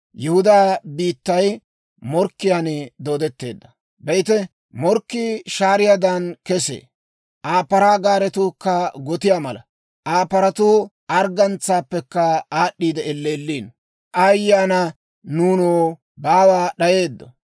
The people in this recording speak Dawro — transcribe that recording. Be'ite, morkkii shaariyaadan kesee. Aa paraa gaaretuukka gotiyaa mala; Aa paratuu arggantsaappekka aad'd'i elleelliino. Aayye ana nuunoo! Baawa d'ayeeddo!